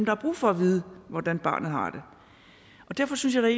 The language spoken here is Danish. har brug for at vide hvordan barnet har det derfor synes jeg